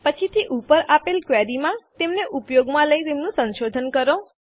પછીથી ઉપર આપેલ ક્વેરીમાં તેમને ઉપયોગમાં લઈ તેમનું સંશોધન કરો